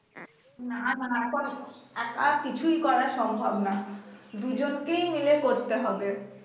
না না এখন একা কিছুই করা সম্ভব না দুজনকেই মিলে করতে হবে